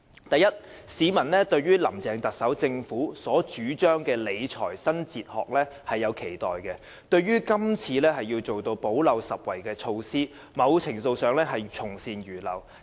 第一，市民對於林鄭政府所主張的理財新哲學是有期待的，這次推出"補漏拾遺"的措施，在某程度上是從善如流。